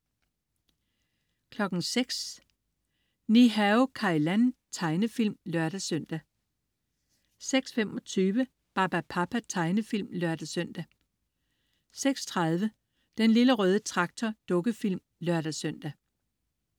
06.00 Ni-Hao Kai Lan. Tegnefilm (lør-søn) 06.25 Barbapapa. Tegnefilm (lør-søn) 06.30 Den lille røde traktor. Dukkefilm (lør-søn)